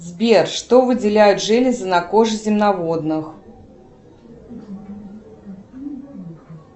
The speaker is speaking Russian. сбер что выделяют железы на коже земноводных